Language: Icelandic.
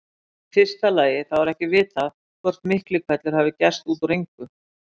Í fyrsta lagi þá er ekki vitað hvort Miklihvellur hafi gerst út úr engu.